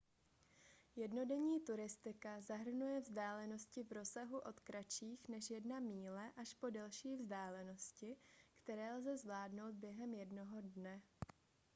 jednodenní turistika zahrnuje vzdálenosti v rozsahu od kratších než jedna míle až po delší vzdálenosti které lze zvládnout během jednoho dne